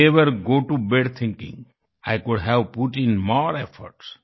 never go to bad bed bed thinking I could have put in more efforts